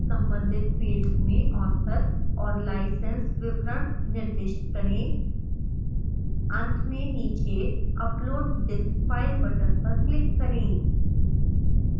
संबंधित fields में author और license विवरण निर्दिष्ट करें अंत में नीचे upload this file बटन पर क्लिक करें